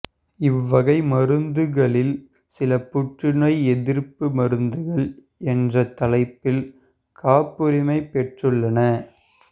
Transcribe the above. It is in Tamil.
இவ்வகை மருந்துகளில் சில புற்றுநோய் எதிர்ப்பு மருந்துகள் என்ற தலைப்பில் காப்புரிமை பெற்றுள்ளன